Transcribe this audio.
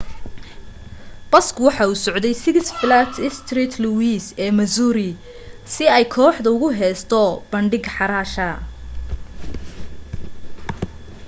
baska waxa uu usocde six flags st louis ee missouri si ay kooxda ugu heesto bandhig xaraasha